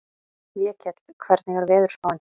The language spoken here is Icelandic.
Vékell, hvernig er veðurspáin?